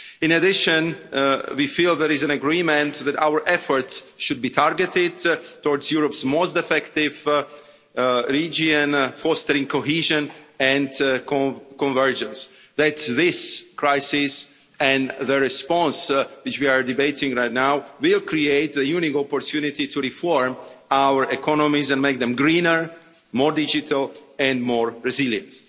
In addition, we feel there is agreement that our efforts should be targeted towards Europe's most affected regions, fostering cohesion and convergence and that this crisis and the response which we are debating right now will create a unique opportunity to reform our economies and make them greener, more digital and more resilient.